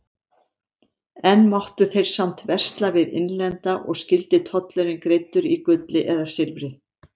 Enn máttu þeir samt versla við innlenda og skyldi tollurinn greiddur í gulli eða silfri.